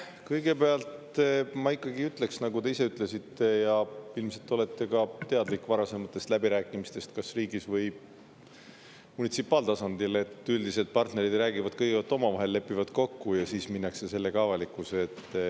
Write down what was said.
Kõigepealt ma ütleksin, nagu te ise ütlesite ja ilmselt olete ka teadlik varasematest läbirääkimistest, kas riigis või munitsipaaltasandil, et üldiselt partnerid räägivad kõigepealt omavahel, lepivad kokku ja siis minnakse sellega avalikkuse ette.